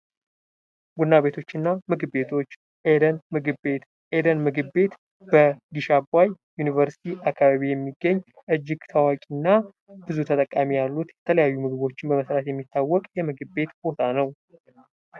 ቡና ቤቶችና ምግብ ቤቶች፦ ኤደን ምግብ ቤት ፦ኤደን ምግብ ቤት በግሽአባይ ዩኒቨርስቲ አካባቢ የሚገኝ እጅግ ታዋቂና ብዙ ተጠቃሚ ያሉት የተለያዩ ምግቦች በመሠራት የሚታወቅ የምግብ ቤት ቦታ ነው።